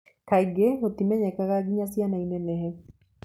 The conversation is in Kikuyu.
Kaingĩ gũtimenyekaga nginya ciana inenehe.